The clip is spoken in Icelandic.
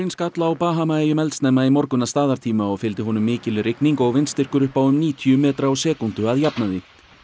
skall á Bahamaeyjum eldsnemma í morgun að staðartíma og fylgdi honum mikil rigning og vindstyrkur upp á um níutíu metra á sekúndu að jafnaði